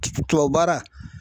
Tubabu baara.